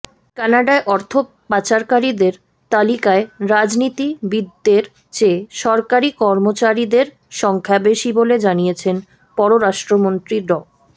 কানাডায় অর্থ পাচারকারীদের তালিকায় রাজনীতিবিদদের চেয়ে সরকারি কর্মচারীদের সংখ্যা বেশি বলে জানিয়েছেন পররাষ্ট্রমন্ত্রী ড